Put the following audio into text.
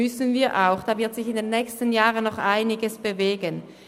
Da wird sich in den nächsten Jahren noch einiges bewegen.